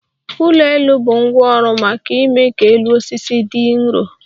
ụgbọelu bụ ngwá ọrụ maka ime ka elu osisi dị nrọ